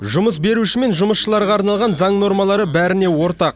жұмыс беруші мен жұмысшыларға арналған заң нормалары бәріне ортақ